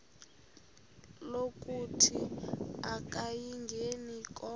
lokuthi akayingeni konke